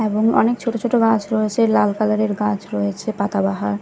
এবং অনেক ছোট ছোট গাছ রয়েছে লাল কালারের গাছ রয়েছে পাতাবাহার --